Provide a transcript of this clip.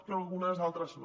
però algunes altres no